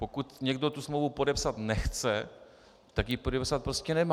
Pokud někdo tu smlouvu podepsat nechce, tak ji podepsat prostě nemá.